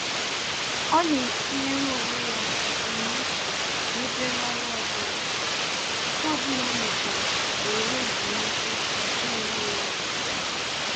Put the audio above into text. Ọ na-etinyere onwe ya ebumnuche n'obere ọrụ ọbụla, nke ọbụla ọ mechara o were ezumike jaa onwe ya ike.